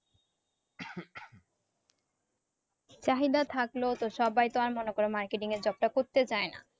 চাহিদা থাকলেও তো সবাই তো আর মনে করো marketing এর job টা করতে দেয় না